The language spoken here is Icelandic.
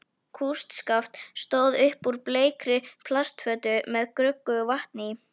Kústskaft stóð upp úr bleikri plastfötu með gruggugu vatni í.